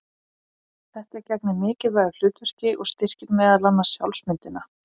Þetta gegnir mikilvægu hlutverki og styrkir meðal annars sjálfsmyndina.